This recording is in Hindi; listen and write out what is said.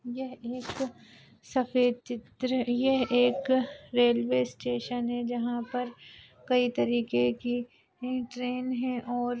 यह एक सफ़ेद चित्र यह एक रेलवे स्टेशन है जहाँ पर कई तरीके की ट्रेन है और--